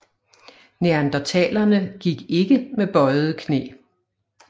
Neandertalerne gik ikke med bøjede knæ